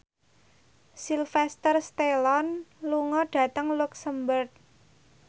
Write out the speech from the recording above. Sylvester Stallone lunga dhateng luxemburg